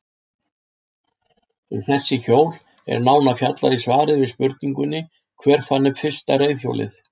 Um þessi hjól er nánar fjallaði í svari við spurningunni Hver fann upp fyrsta reiðhjólið?